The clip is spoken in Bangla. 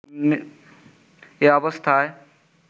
এ অবস্থায়